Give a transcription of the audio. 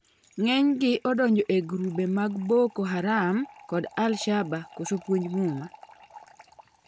ng'eny gi donjo ei grube mar Boko Haram kod Al-shaba koso puonj Muma